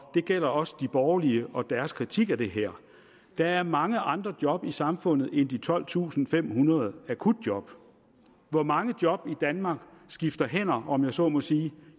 det gælder også de borgerlige og deres kritik af det her der er mange andre job i samfundet end de tolvtusinde og femhundrede akutjob hvor mange job i danmark skifter hænder om jeg så må sige